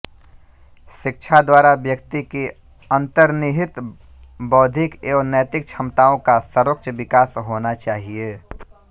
शिक्षा द्वारा व्यक्ति की अन्तर्निहित बौद्धिक एवं नैतिक क्षमताओं का सर्वोच्च विकास होना चाहिए